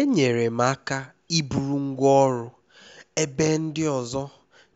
enyere m aka iburu ngwá ọrụ ebe ndị ọzọ